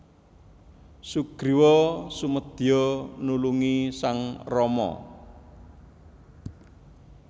Sugriwa sumedya nulungi sang Rama